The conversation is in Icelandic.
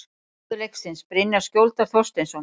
Maður leiksins: Brynjar Skjóldal Þorsteinsson